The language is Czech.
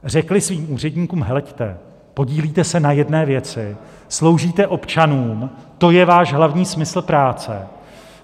Řekly svým úředníkům: Heleďte, podílíte se na jedné věci, sloužíte občanům, to je váš hlavní smysl práce.